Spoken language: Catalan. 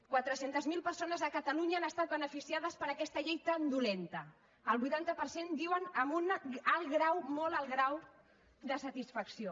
quatre centes mil persones a catalunya han estat beneficiades per aquesta llei tan dolenta el vuitanta per cent diuen que amb un alt grau molt alt grau de satisfacció